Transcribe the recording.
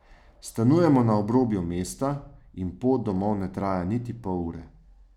Stanujemo na obrobju mesta in pot domov ne traja niti pol ure.